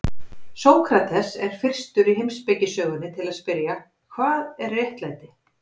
Sókrates er fyrstur í heimspekisögunni til að spyrja: Hvað er réttlæti?